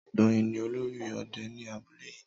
Doyin ni olórí òde ní abúlé yìí